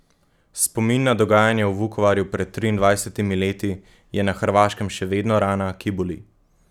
Spomin na dogajanja v Vukovarju pred triindvajsetimi leti je na Hrvaškem še vedno rana, ki boli.